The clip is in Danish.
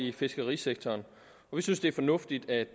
i fiskerisektoren vi synes det er fornuftigt at